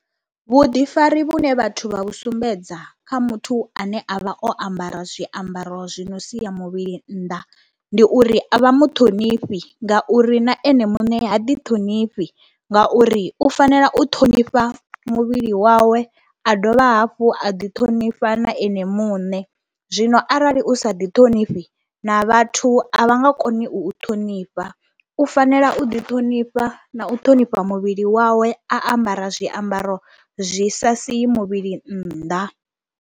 Vhuḓifari vhune vhathu vha vhu sumbedza kha muthu ane a vha o ambara zwiambaro zwi no sia muvhili nnḓa ndi uri a vha mu ṱhonifhi ngauri na ene muṋe ha ḓiṱhonifhi ngauri u fanela u ṱhonifha muvhili wawe, a dovha hafhu a ḓiṱhonifha na ene muṋe. Zwino arali u sa ḓiṱhonifhi na vhathu a vha nga koni u u ṱhonifha, u fanela u ḓiṱhonifha na u ṱhonifha muvhili wawe a ambara zwiambaro zwi sa sii muvhili nnḓa.